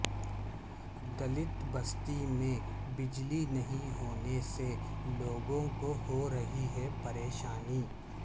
دلت بستی میں بجلی نہیں ہونے سے لوگوں کو ہورہی ہے پریشانی